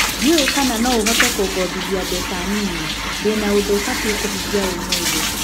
Ndiũũĩ kana noohote kũngombithia mbeca nini ? Ndĩna ũndũ batie kũhingia ũmũthĩ.